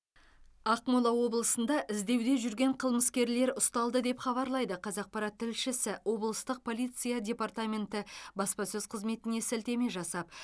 ақмола облысында іздеуде жүрген қылмыскерлер ұсталды деп хабарлайды қазақпарат тілшісі облыстық полиция департаменті баспасөз қызметіне сілтеме жасап